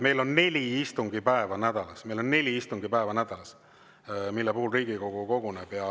Meil on nädalas neli istungipäeva, mille puhul Riigikogu koguneb.